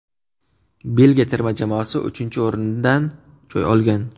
Belgiya terma jamoasi uchinchi o‘rindan joy olgan.